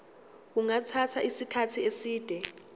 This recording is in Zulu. kungathatha isikhathi eside